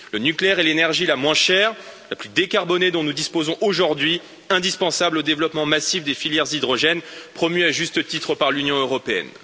Le nucléaire est l'énergie la moins chère, la plus décarbonée dont nous disposons aujourd'hui, indispensable au développement massif des filières hydrogènes, promues à juste titre par l'Union européenne.